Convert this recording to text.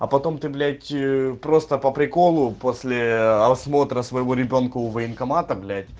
а потом ты блять просто по приколу после осмотра своего ребёнка у военкомата блять